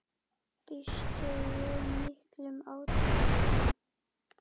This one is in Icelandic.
Býstu við miklum átökum?